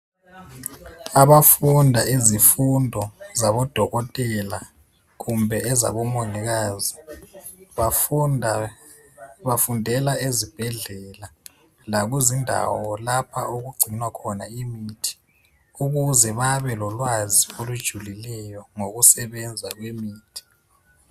Abafunda izifundo zabo Dokotela kumbe ezabo Mongikazi bafundela ezibhedlela lakuzindawo lapha okugcinwa khona imithi .Ukuze babelolwazi olujulileyo ngokusebenza kwemithi.